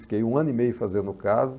Fiquei um ano e meio fazendo casa.